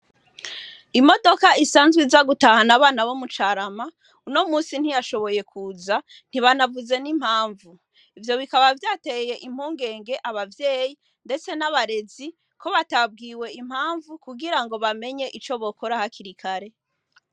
Imodoka isanzwe iza gutahana abana bo mu Carama uno munsi ntiyashoboye kuza, ntibanavuze n'impamvu. Ivyo bikaba vyateye impungenge abavyeyi ndetse n'abarezi ko batabwiwe impamvu kugirango bamenye ico bokora hakiri kare.